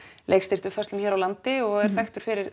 leikstýrt uppfærslum hér á landi og er þekktur fyrir